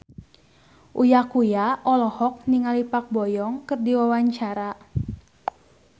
Uya Kuya olohok ningali Park Bo Yung keur diwawancara